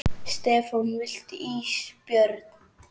Stefán: Viltu ís Björn?